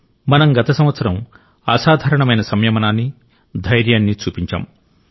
మనం గత సంవత్సరం అసాధారణమైన సంయమనాన్ని ధైర్యాన్ని చూపించాం